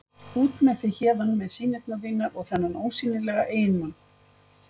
Út með þig héðan með sýnirnar þínar og þennan ósýnilega eiginmann.